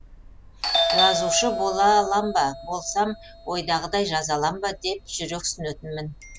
жазушы бола алам ба болсам ойдағыдай жаза алам ба деп жүрексінетінмін